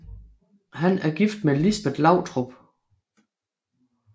Han er gift med Lisbet Lautrup